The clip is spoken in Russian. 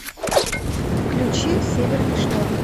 включи северный шторм